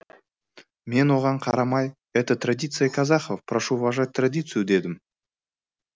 мен оған қарамай это традиция казахов прошу уважать традицию дедім